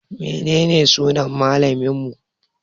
Menene sunan malaminmu?